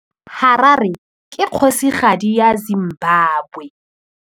Harare ke kgosigadi ya Zimbabwe.